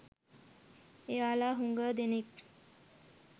එයාලා හුඟ දෙනෙක්